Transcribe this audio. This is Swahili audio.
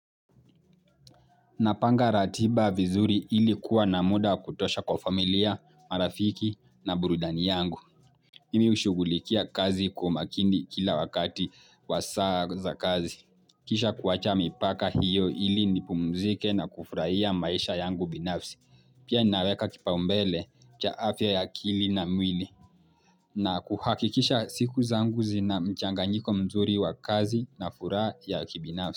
Napanga ratiba vizuri ili kuwa na muda wakutosha kwa familia, marafiki na burudani yangu. Nimi hushugulikia kazi kwa umakini kila wakati wa saa za kazi. Kisha kuwacha mipaka hiyo ili nipumzike na kufurahia maisha yangu binafsi. Pia ninaweka kipaumbele cha afya ya akili na mwili. Na kuhakikisha siku zangu zinamchanganyiko mzuri wa kazi na furaha ya kibinafsi.